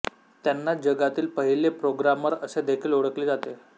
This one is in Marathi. त्यांना जगातील पहिली प्रोग्रामर असे देखील ओळखले जाते